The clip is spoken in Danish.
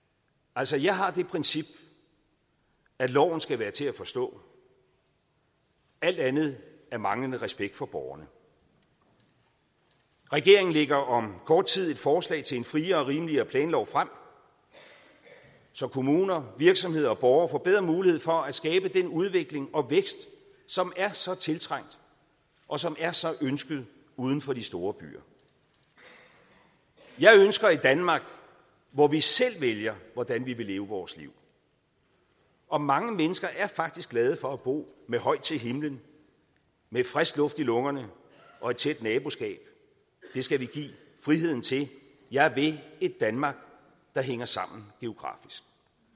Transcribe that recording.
altså jeg har det princip at loven skal være til at forstå alt andet er manglende respekt for borgerne regeringen lægger om kort tid et forslag til en friere og rimeligere planlov frem så kommuner virksomheder og borgere får bedre mulighed for at skabe den udvikling og vækst som er så tiltrængt og som er så ønsket uden for de store byer jeg ønsker et danmark hvor vi selv vælger hvordan vi vil leve vores liv og mange mennesker er faktisk glade for at bo med højt til himlen med frisk luft i lungerne og et tæt naboskab det skal vi give friheden til jeg vil et danmark der hænger sammen geografisk